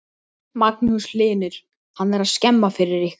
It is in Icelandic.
Magnús Hlynur: Hann er skemma fyrir ykkur?